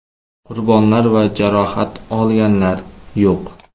Qurbonlar va jarohat olganlar yo‘q.